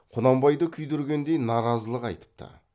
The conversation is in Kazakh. құнанбайды күйдіргендей наразылық айтыпты